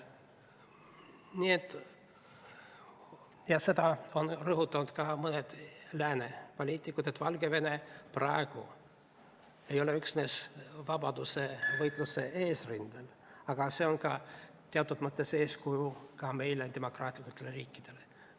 Nii mõnedki lääne poliitikud on rõhutanud, et Valgevene ei ole praegu üksnes vabadusvõitluse eesrindel, vaid ta on teatud mõttes meile, demokraatlikele riikidele ka eeskujuks.